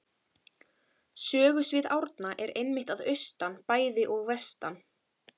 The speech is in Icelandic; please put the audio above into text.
Sögusvið Árna er einmitt að austan bæði og vestan